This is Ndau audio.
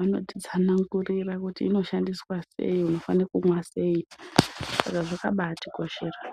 anoti tsanangurira kuti ino shandiswa sei kana unofana kumwa sei saka zvakabai tikoshera.